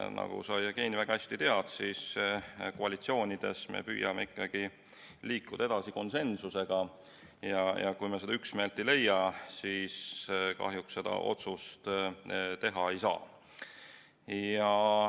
Nagu sa, Jevgeni, väga hästi tead, siis koalitsioonides me püüame ikkagi liikuda edasi konsensusega ja kui me üksmeelt ei leia, siis kahjuks seda otsust teha ei saa.